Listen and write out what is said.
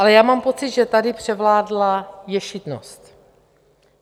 Ale já mám pocit, že tady převládla ješitnost.